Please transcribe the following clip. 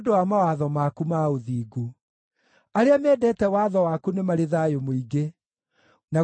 Arĩa mendete watho waku nĩ marĩ thayũ mũingĩ, na gũtirĩ kĩndũ kĩngĩtũma mahĩngwo.